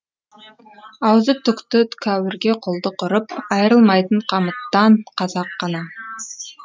аузы түкті кәуірге құлдық ұрып айрылмайтын қамыттан қазақ қана